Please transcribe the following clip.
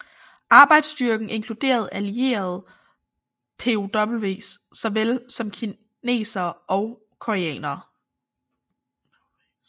Arbejdsstyrken inkluderede allierede POWs såvel som kinesere og koreanere